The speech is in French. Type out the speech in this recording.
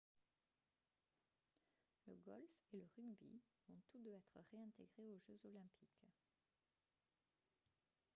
le golf et le rugby vont tous deux être réintégrés aux jeux olympiques